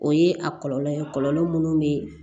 O ye a kɔlɔlɔ ye kɔlɔlɔ munnu bɛ